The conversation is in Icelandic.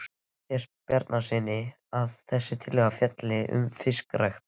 Matthíasi Bjarnasyni, að þessi tillaga fjalli um fiskrækt.